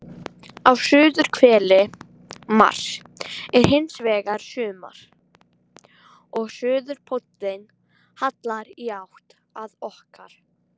Á suðurhveli Mars er hins vegar sumar og suðurpóllinn hallar í átt að okkar.